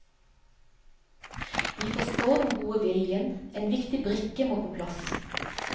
Vi forstår den gode viljen, men en viktig brikke må på plass.